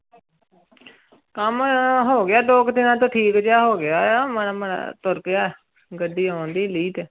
ਕੰਮ ਹੋ ਗਿਆ ਦੋ ਕੁ ਦਿਨਾਂ ਤੋਂ ਠੀਕ ਜਿਹਾ ਹੋ ਗਿਆ ਹੈ, ਮਾੜਾ ਮਾੜਾ ਤੁਰ ਪਿਆ, ਗੱਡੀ ਆਉਂਦੀ ਲੀਹ ਤੇ।